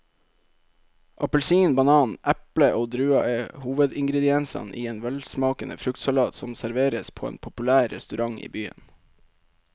Appelsin, banan, eple og druer er hovedingredienser i en velsmakende fruktsalat som serveres på en populær restaurant i byen.